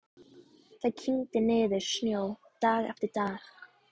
Það kyngdi niður snjó dag eftir dag.